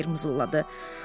Tayger mızıldadı.